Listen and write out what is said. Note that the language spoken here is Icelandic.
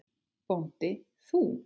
BÓNDI: Þú?